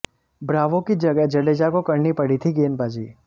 Bravo की जगह जडेजा को करनी पड़ी थी गेंदबाजी